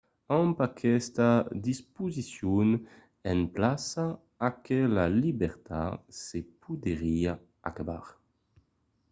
amb aquesta disposicion en plaça aquela libertat se podriá acabar